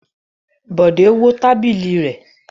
Bọ̀dé wó tábìlì rẹ̀.